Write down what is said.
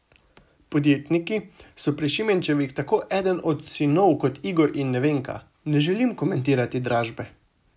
Podjetniki so pri Šimenčevih tako eden od sinov kot Igor in Nevenka: "Ne želim komentirati dražbe.